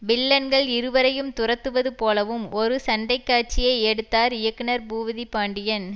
வில்லன்கள் இருவரையும் துரத்துவது போலவும் ஒரு சண்டைக்காட்சியை எடுத்தார் இயக்குனர் பூபதி பாண்டியன்